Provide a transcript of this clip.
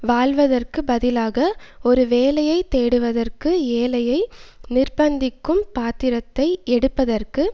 வாழ்வதற்கு பதிலாக ஒரு வேலையை தேடுவதற்கு ஏழையை நிர்பந்திக்கும் பாத்திரத்தை எடுப்பதற்கு